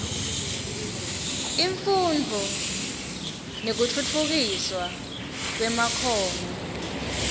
imfundvo nekutfutfukiswa kwemakhono